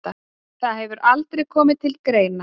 Það hefur aldrei komið til greina.